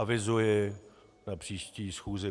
Avizuji na příští schůzi